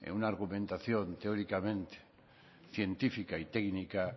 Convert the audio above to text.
una argumentación teóricamente científica y técnica